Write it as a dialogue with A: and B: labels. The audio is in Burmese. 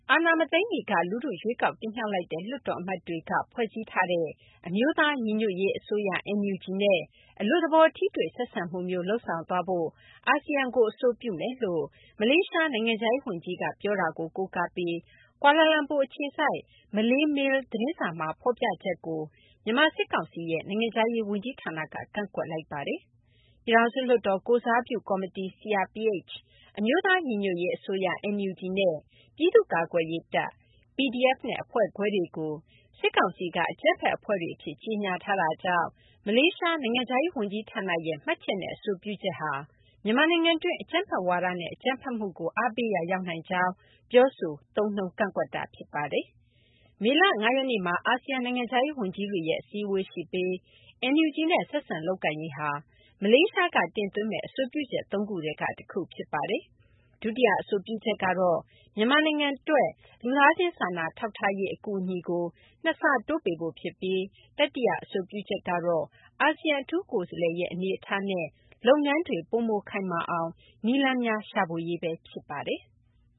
A: အာဏာမသိမ်းမီက လူထု ရွေးကောက်တင်မြှောက်လိုက်တဲ့ လွှတ်တော်အမတ်တွေက ဖွဲ့စည်းလိုက်ကြတဲ့ အမျိုးသားညီညွတ်ရေးအစိုးရ (NUG) နဲ့ အလွတ်သဘော ထိတွေ့ဆက်ဆံမှုမျိုး လုပ်ဆောင်သွားဖို့ အာဆီယံကို အဆိုပြုမယ်လို့ မလေးရှား နိုင်ငံခြားရေးဝန်ကြီးက ပြောတာကို ကိုးကားပြီး ကွာလာလမ်ပူ အခြေစိုက် မလေးမေးလ်သတင်းစာမှာ ဖော်ပြချက်ကို မြန်မာ စစ်ကောင်စီရဲ့ နိုင်ငံခြားရေး ဝန်ကြီးဌာနက ကန့်ကွက်လိုက်ပါတယ်။ ပြည်ထောင်စု လွှတ်တော် ကိုယ်စားပြု ကော်မတီ CRPH၊ အမျိုးသား ညီညွတ်ရေး အစိုးရ NUG နဲ့ ပြည်သူ့ ကာကွယ်ရေး တပ် PDF နဲ့ အဖွဲ့ခွဲတွေကို စစ်ကောင်စီက အကြမ်းဖက်အဖွဲ့တွေ အဖြစ် ကြေညာထားတာကြောင့် မလေးရှား နိုင်ငံခြားရေး ဝန်ကြီးဌာနရဲ့ မှတ်ချက်နဲ့ အဆိုပြုချက်ဟာ မြန်မာနိုင်ငံတွင်း အကြမ်းဖက်ဝါဒနဲ့ အကြမ်းဖက်မှုကို အားပေးရာ ရောက်နိုင်ကြောင်း ပြောဆိုကန့်ကွက်တာ ဖြစ်ပါတယ်။ မေလ ၅ ရက်နေ့မှာ အာဆီယံ နိုင်ငံခြားရေးဝန်ကြီးတွေရဲ့ အစည်းအဝေးရှိပြီး NUG နဲ့ ဆက်ဆံလုပ်ကိုင်ရေးဟာ မလေးရှားက တင်သွင်းမယ့် အဆိုပြုချက် ၃ ခုထဲက တခုဖြစ်ပါတယ်။ ဒုတိယအဆိုပြုချက်ကတော့ မြန်မာနိုင်ငံအတွက် လူသားချင်း စာနာထောက်ထားရေး အကူအညီကို ၂ ဆတိုးပေးဖို့ ဖြစ်ပြီး တတိယ အဆိုပြုချက်ကတော့ အာဆီယံ အထူးကိုယ်စားလှယ်ရဲ့ အနေအထားနဲ့ လုပ်ငန်းတွေ ပိုမိုခိုင်မာအောင် နည်းလမ်းများ ရှာဖွေရေးပဲ ဖြစ်ပါတယ်။